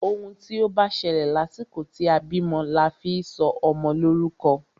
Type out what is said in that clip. Òun tí o bá ṣẹlẹ̀ lásìkò tí a bímọ la fi sọ ọmọ lórúkọ.